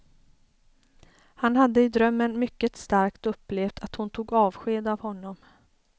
Han hade i drömmen mycket starkt upplevt att hon tog avsked av honom.